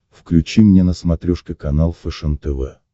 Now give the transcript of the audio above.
включи мне на смотрешке канал фэшен тв